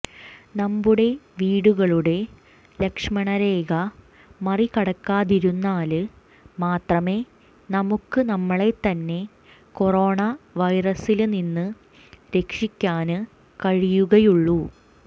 നമ്മുടെ വീടുകളുടെ ലക്ഷ്മണരേഖ മറികടക്കാതിരുന്നാല് മാത്രമേ നമുക്ക് നമ്മളെത്തന്നെ കൊറോണ വൈറസില് നിന്ന് രക്ഷിക്കാന് കഴിയുകയുള്ളു